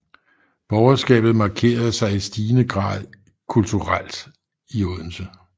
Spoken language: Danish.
Borgerskabet markerede sig i stigende grad i kulturelt i Odense